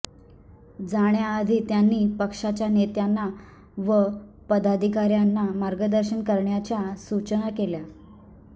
जाण्याआधी त्यांनी पक्षाच्या नेत्यांना व पदाधिकाऱ्यांना मार्गदर्शन करण्याच्या सूचना केल्या